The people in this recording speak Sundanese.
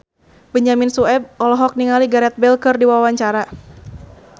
Benyamin Sueb olohok ningali Gareth Bale keur diwawancara